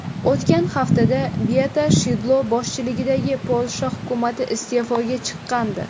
O‘tgan haftada Beata Shidlo boshchiligidagi Polsha hukumati iste’foga chiqqandi.